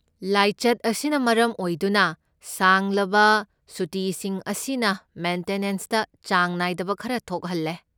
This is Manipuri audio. ꯂꯥꯏꯆꯠ ꯑꯁꯤꯅ ꯃꯔꯝ ꯑꯣꯏꯗꯨꯅ ꯁꯥꯡꯂꯕ ꯁꯨꯇꯤꯁꯤꯡ ꯑꯁꯤꯅ ꯃꯦꯟꯇꯦꯅꯦꯟꯁꯇ ꯆꯥꯡ ꯅꯥꯏꯗꯕ ꯈꯔ ꯊꯣꯛꯍꯜꯂꯦ꯫